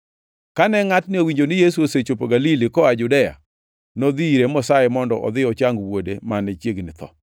Kane ngʼatni owinjo ni Yesu osechopo Galili koa Judea, nodhi ire mosaye mondo odhi ochang wuode mane chiegni tho.